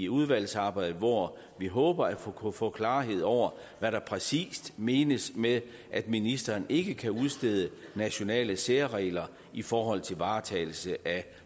udvalgsarbejdet hvor vi håber at kunne få klarhed over hvad der præcis menes med at ministeren ikke kan udstede nationale særregler i forhold til varetagelse af